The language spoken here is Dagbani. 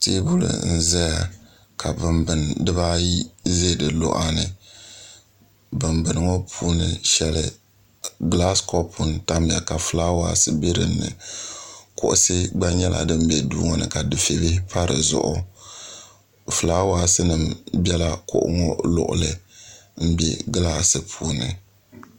Teebuli n-zaya ka bimbini diba ayi be di luɣa ni bimbini ŋɔ puuni shɛli gilaasi kɔpu n-tamya ka filaawasi be din ni kuɣisi gba nyɛla din be duu ŋɔ ni ka dufɛ' bihi pa di zuɣu filaawasi bela kuɣu ŋɔ luɣuli m-be gilaasi puuni